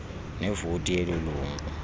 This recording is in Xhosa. nevoti yeloo lungu